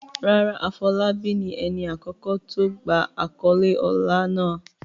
Rárá, Afolabi ni ẹni àkọ́kọ́ tí ó gba àkọ́lé ọlá náà.